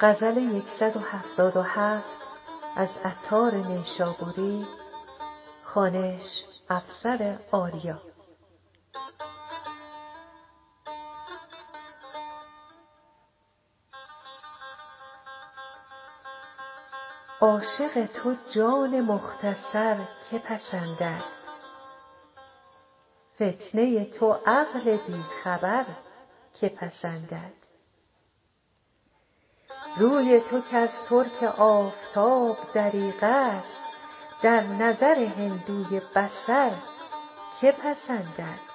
عاشق تو جان مختصر که پسندد فتنه ی تو عقل بی خبر که پسندد روی تو کز ترک آفتاب دریغ است در نظر هندوی بصر که پسندد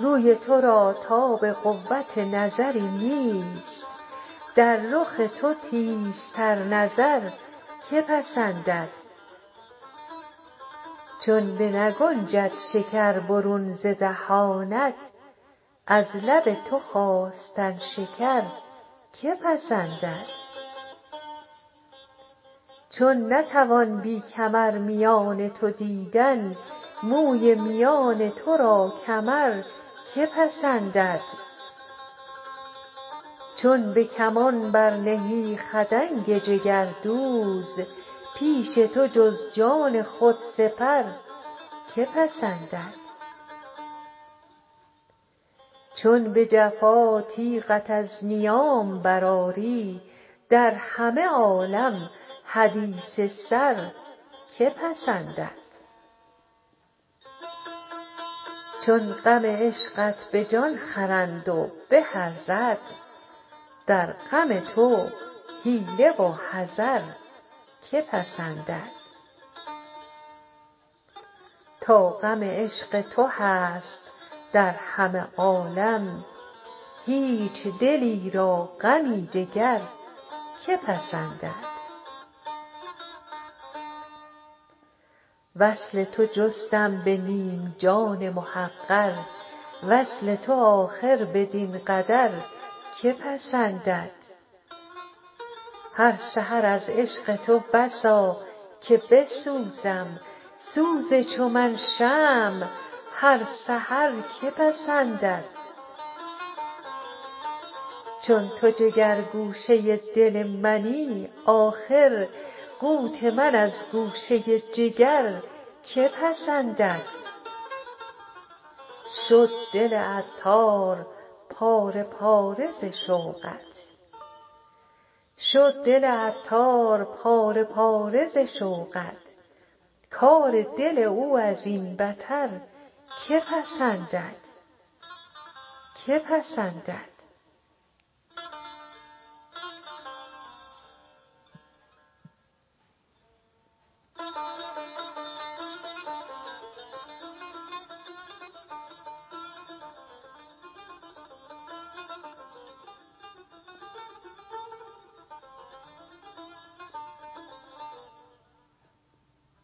روی تو را تاب قوت نظری نیست در رخ تو تیزتر نظر که پسندد چون بنگنجد شکر برون ز دهانت از لب تو خواستن شکر که پسندد چون نتوان بی کمر میان تو دیدن موی میان تو را کمر که پسندد چون به کمان برنهی خدنگ جگردوز پیش تو جز جان خود سپر که پسندد چون به جفا تیغت از نیام برآری در همه عالم حدیث سر که پسندد چون غم عشقت به جان خرند و به ارزد در غم تو حیله و حذر که پسندد تا غم عشق تو هست در همه عالم هیچ دلی را غمی دگر که پسندد وصل تو جستم به نیم جان محقر وصل تو آخر بدین قدر که پسندد هر سحر از عشق تو بسا که بسوزم سوز چو من شمع هر سحر که پسندد چون تو جگر گوشه دل منی آخر قوت من از گوشه جگر که پسندد شد دل عطار پاره پاره ز شوقت کار دل او ازین بتر که پسندد